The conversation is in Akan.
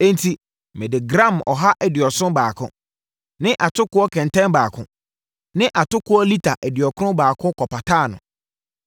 Enti, mede gram ɔha aduɔson baako (gram 171) ne atokoɔ kɛntɛn baako (lita 182) ne atokoɔ lita aduɔkron baako kɔpataa no.